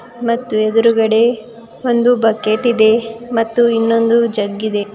ಮತ್ತು ಎದುರಗಡೆ ಒಂದು ಬಕೆಟ್ ಇದೆ ಮತ್ತು ಇನ್ನೊಂದು ಜಗ್ ಇದೆ.